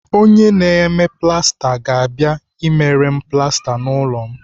Onye na-eme plasta ga-abịa emere m plasta n'ụlọ m